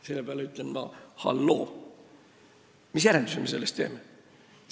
Selle peale ma ütlen: "Halloo, mis järelduse me sellest teeme?